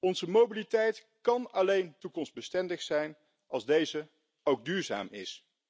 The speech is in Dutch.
Onze mobiliteit kan alleen toekomstbestendig zijn als deze ook duurzaam is.